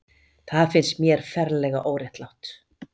Það finnst mér ferlega óréttlátt.